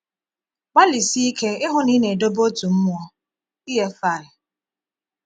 ‘Gbalịsie ike ịhụ na ị na-edobe otu mmụọ.’ — EFI.